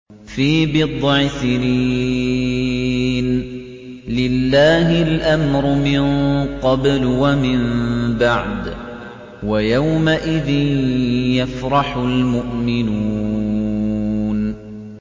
فِي بِضْعِ سِنِينَ ۗ لِلَّهِ الْأَمْرُ مِن قَبْلُ وَمِن بَعْدُ ۚ وَيَوْمَئِذٍ يَفْرَحُ الْمُؤْمِنُونَ